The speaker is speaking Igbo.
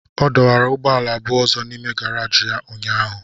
Ọ dọwara ụgbọala abụọ ọzọ n'ime gàráji ya ụnyahụ